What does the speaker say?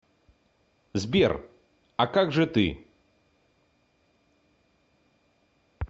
сбер а как же ты